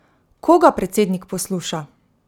Koga predsednik posluša?